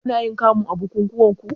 Kunayin kamu a bukukuwanku?